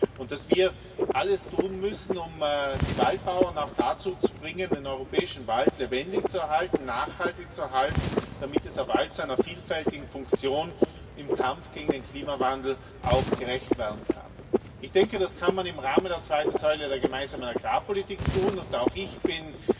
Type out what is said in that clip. und wir müssen alles tun, um die Waldbauern auch dazu zu bringen, den europäischen Wald lebendig zu erhalten, nachhaltig zu erhalten, damit dieser Wald seinen vielfältigen Funktionen im Kampf gegen den Klimawandel auch gerecht werden kann. Ich denke, das kann man im Rahmen der zweiten Säule der Gemeinsamen Agrarpolitik tun, und auch ich